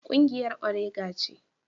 Kungiyar orega ce.